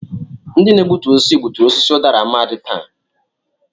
Ndị na-egbutu osisi gbuturu osisi udara Amadi taa.